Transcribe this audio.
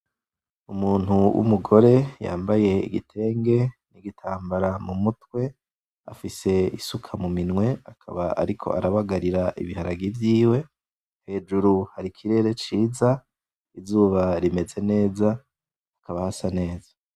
Umuntu w'umugore yambaye igitenge; n'igitambara mu mutwe, afise isuka mu minwe, akaba ariko arabagarira ibiharage vyiwe, hejuru har' ikirere ciza, izuba rimeze neza, hakaba hasa neza.